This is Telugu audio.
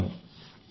అవును